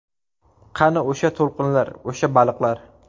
Qani o‘sha to‘lqinlar, o‘sha baliqlar?